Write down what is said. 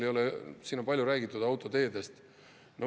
Siin on palju räägitud autoteedest.